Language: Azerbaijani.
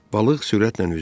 Balıq sürətlə üzür.